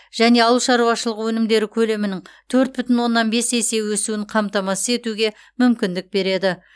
және ауыл шаруашылығы өнімдері көлемінің төрт бүтін оннан бес есе өсуін қамтамасыз етуге мүмкіндік береді